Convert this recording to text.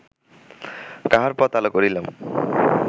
কাহার পথ আলো করিলাম